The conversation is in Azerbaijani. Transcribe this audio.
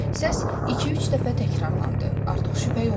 Səs iki-üç dəfə təkrarlandı, artıq şübhə yox idi.